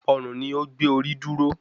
Ọrùn ni ó gbé orí dúró